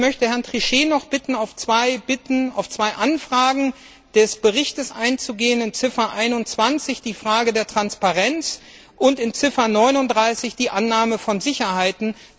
Ich möchte Herrn Trichet noch bitten, auf zwei Anfragen des Berichts einzugehen in Ziffer 21 zur Frage der Transparenz und in Ziffer 39 zur Annahme von Sicherheiten.